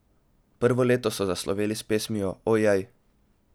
Prvo leto so zasloveli s pesmijo O jej!